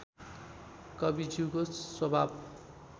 कविज्यूको स्वभाव